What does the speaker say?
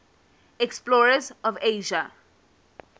explorers of asia